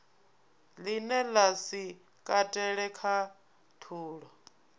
line la si katele khathulo